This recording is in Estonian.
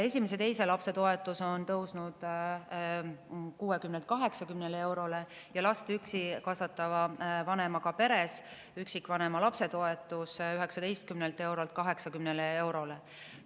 Esimese ja teise lapse toetus on tõusnud 60-lt 80 eurole ja last üksi kasvatava vanemaga peres üksikvanema lapse toetus 19 eurolt 80 eurole.